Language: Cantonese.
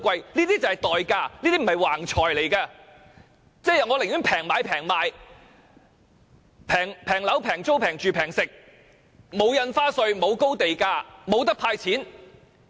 這些便是代價，這些錢並非橫財，也即是說，我寧願平買、平賣、平樓、平租、平住、平食，沒有印花稅、沒有高地價，也沒有"派錢"。